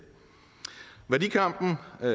værdikampen er